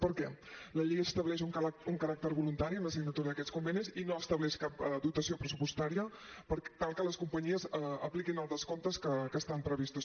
per què la llei estableix un caràcter voluntari en la signatura d’aquests convenis i no estableix cap dotació pressupostària per tal que les companyies apliquin els descomptes que estan previstos